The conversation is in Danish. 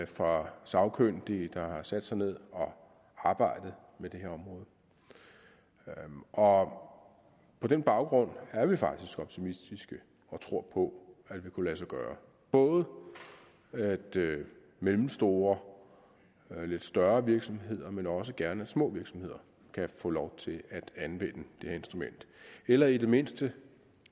fra sagkyndige der har sat sig ned og arbejdet med det her område og på den baggrund er vi faktisk optimistiske og tror på at det vil kunne lade sig gøre at både mellemstore og lidt større virksomheder men også gerne små virksomheder kan få lov til at anvende det her instrument eller i det mindste